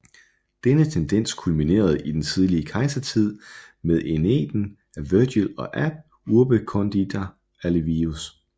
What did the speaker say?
Denne tendens kulminerede i den tidlige kejsertid med Æneiden af Vergil og Ab urbe condita af Livius